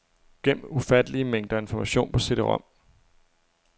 Gem ufattelige mængder information på cd-rom.